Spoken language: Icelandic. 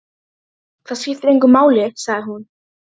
Það skiptir engu máli, sagði hún.